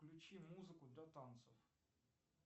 включи музыку для танцев